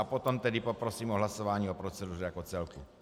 A potom tedy poprosím o hlasování o proceduře jako celku.